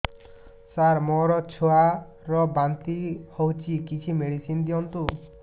ସାର ମୋର ଛୁଆ ର ବାନ୍ତି ହଉଚି କିଛି ମେଡିସିନ ଦିଅନ୍ତୁ